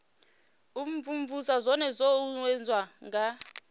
imvumvusa zwone zwo uuwedzwa nga